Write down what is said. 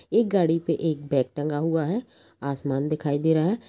एक गाड़ी पे एक बैग टंगा हुआ है | आसमान दिखाई दे रहा है ।